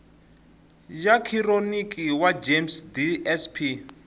ya khironiki wa gems dsp